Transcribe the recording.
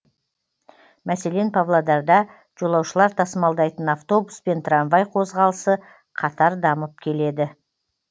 мәселен павлодарда жолаушылар тасымалдайтын автобус пен трамвай қозғалысы қатар дамып келеді